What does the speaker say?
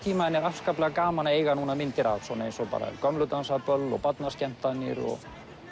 tíma en er gaman að eiga núna myndir af eins og gömlu dansa böll barnaskemmtanir og